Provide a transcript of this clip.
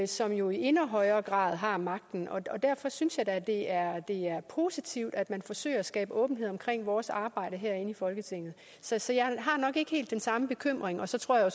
som jo i endnu højere grad har magten og derfor synes jeg da at det er positivt at man forsøger at skabe åbenhed om vores arbejde herinde i folketinget så så jeg har nok ikke helt den samme bekymring og så tror jeg at